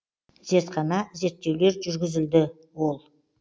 зертхана зерттеулер жүргізілді ол